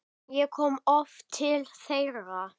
Ég kom oft til þeirra.